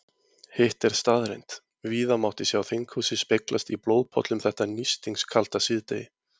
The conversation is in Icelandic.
Hitt er staðreynd, víða mátti sjá þinghúsið speglast í blóðpollum þetta nístingskalda síðdegi.